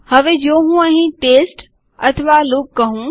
હવે જો હું અહીં ટેસ્ટ અથવા લૂપ કહું